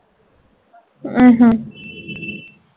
ਅੱਛਾ